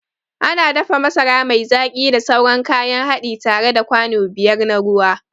Ana dafa masara mai zaki da sauran kayan haɗi tare da kwano biyar na ruwa.